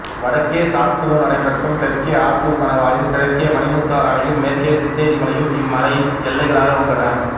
வடக்கே சாத்தனூர் அணைக்கட்டும் தெற்கே ஆத்தூர் கணவாயும் கிழக்கே மணிமுத்தாறு அணையும் மேற்கே சித்தேரி மலையும் இம்மலையின் எல்லைகளாக உள்ளன